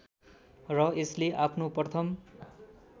र यसले आफ्नो प्रथम